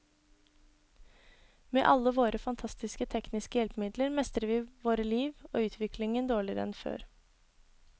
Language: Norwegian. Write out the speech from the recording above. Med alle våre fantastiske tekniske hjelpemidler mestrer vi våre liv og utviklingen dårligere enn før.